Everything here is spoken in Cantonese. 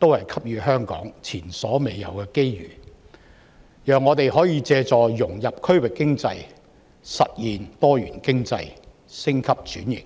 均給予香港前所未有的機遇，讓我們可以透過融入區域經濟來實現經濟多元化及升級轉型。